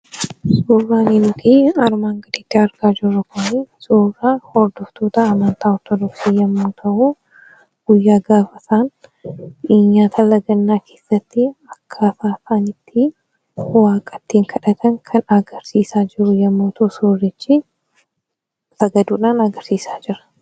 Suuraan nuti armaan gadiitti argaa jirru kuni, suuraa hordoftoota amantaa Ortodooksii yeroo ta'u, akkaata isaan itti waaqa ittiin kadhatan kan agarsiisaa jiru yemmuu ta'u suurichi sagaduudhaan agarsiisaa jira.